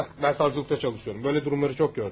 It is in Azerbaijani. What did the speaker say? Bax, mən sarzulatda çalışıram, belə durumları çox görmüşəm.